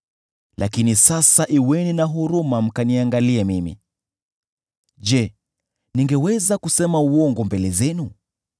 “Lakini sasa kuweni na huruma mkaniangalie mimi. Je, ningeweza kusema uongo mbele zenu?